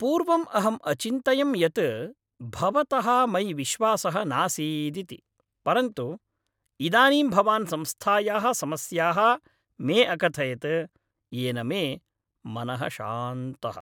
पूर्वम् अहम् अचिन्तयं यत् भवतः मयि विश्वासः नासीदिति, परन्तु इदानीं भवान् संस्थायाः समस्याः मे अकथयत्, येन मे मनः शान्तः।।